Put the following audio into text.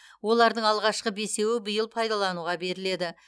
олардың алғашқы бесеуі биыл пайдалануға беріледі